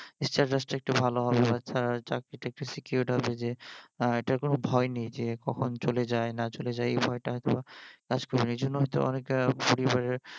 status টা একটু ভালো হবে বাচ্চার চাকরিটা একটু secured হবে যে এইটার কোনো ভয় নেই যে কখন চলে যায় না চলে যায় এজন্য হয়ত অনেকটা পরিবারের